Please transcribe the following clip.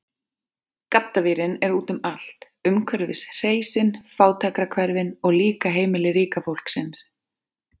Gaddavírinn er úti um allt, umhverfis hreysin, fátækrahverfin, og líka heimili ríka fólksins.